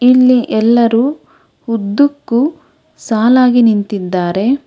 ಇಲ್ಲಿ ಎಲ್ಲರೂ ಉದ್ದುಕ್ಕೂ ಸಾಲಾಗಿ ನಿಂತಿದ್ದಾರೆ.